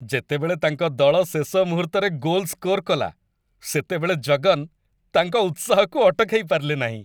ଯେତେବେଳେ ତାଙ୍କ ଦଳ ଶେଷ ମୁହୂର୍ତ୍ତରେ ଗୋଲ୍ ସ୍କୋର କଲା ସେତେବେଳେ ଜଗନ୍ ତାଙ୍କ ଉତ୍ସାହକୁ ଅଟକାଇ ପାରିଲେ ନାହିଁ।